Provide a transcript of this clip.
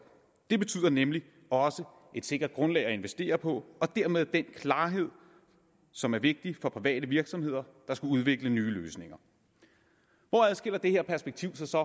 det betyder nemlig også et sikkert grundlag at investere på og dermed den klarhed som er vigtig for private virksomheder der skal udvikle nye løsninger hvor adskiller det her perspektiv sig så